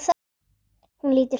Hún lítur til hans.